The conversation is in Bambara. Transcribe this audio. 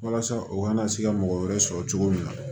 Walasa u kana se ka mɔgɔ wɛrɛ sɔrɔ cogo min na